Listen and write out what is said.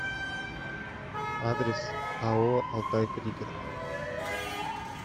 адрес ао алтай пригород